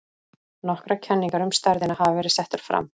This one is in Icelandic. nokkrar kenningar um stærðina hafa verið settar fram